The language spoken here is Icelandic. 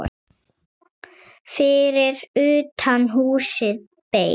Fyrir utan húsið beið